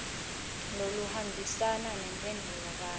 loluhambisana nemphendvulo kanye